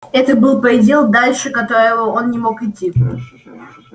это был предел дальше которого он не мог идти